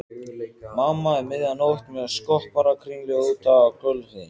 Mamma um miðja nótt með skopparakringlu úti á gólfi.